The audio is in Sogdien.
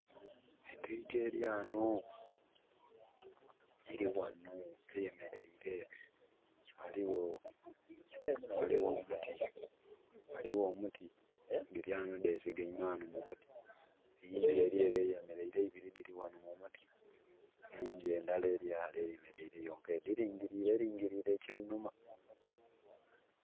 Entwiiga eli ghano, eli ghano eyemeleire. Ghaligho, ghaligho omuti, ghaligho omuti, dhili ghano dhesigaime ghano mu muti. Eyindhi eli ele eyemeleire, eibiri dhili ghano mu muti. Eyindhi endala eli ghale eyemeleire yonka, edhilingiliire, elingiliire eky'einhuma.